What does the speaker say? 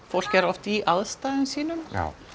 fólk er oft í aðstæðum sínum